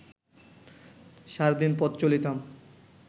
sardine পথ চলিতাম